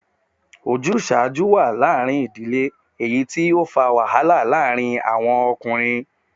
Ojuṣaju wa laarin idile, eyiti o fa wahala laarin awọn arakunrin